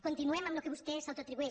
continu·em amb el que vostè s’autoatribueix